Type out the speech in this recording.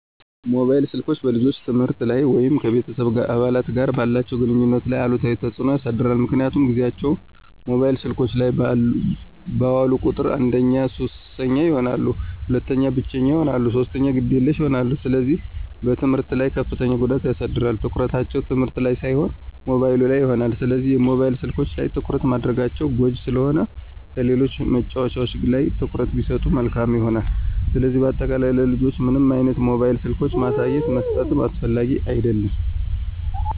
ሞባይል ስልኮች በልጆች የትምህርት ላይ ወይም ከቤተሰብ አባላት ጋር ባላቸው ግንኙነት ላይ አሉታዊ ተጽዕኖ ያሳድራል ምክንያቱም ጊዚያቸውን ሞባይል ስልኮች ላይ ባዋሉ ቁጥር አንደኛ ሱሰኛ ይሆናሉ፣ ሁለተኛ ብቸኛ ይሆናሉ፣ ሶስተኛ ግዴለሽ ይሆናሉ፣ ስለዚህ በትምህርታቸው ላይ ከፍተኛ ጉዳት ያሳድራል፣ ትኩረታቸው ትምህርት ላን ሳይሆን ሞባይሉ ላይ ይሆናል። ስለሆነም የሞባይል ስልኮች ላይ ትኩረት ማድረጋቸው ጎጅ ስለሆነ ከሌሎች መጫዎቻዎች ላይ ትኩረት ቢሰጡ መልካም ይሆናል። ስለዚህ በአጠቃላይ ለልጆች ምንም አይነት ሞባይል ስልኮችን ማሳየትም መስጠትም አስፈላጊ አደለም።